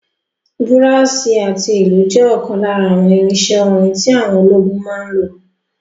Búràsì àti ìlù jẹ́ ọ̀kan lára àwọn irinsẹ́ orin tí àwọn ológun máa ń lò